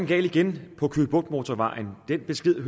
gal igen på køge bugt motorvejen den besked